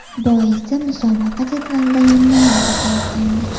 Boisi musobaqa jadvalida yonma-yon ketayotgandik.